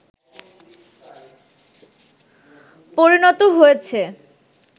পরিণত হয়েছে